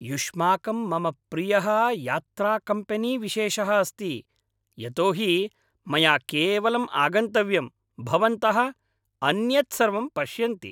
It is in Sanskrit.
युष्माकं मम प्रियः यात्राकम्पेनीविशेषः अस्ति, यतोहि मया केवलम् आगन्तव्यम्, भवन्तः अन्यत् सर्वं पश्यन्ति।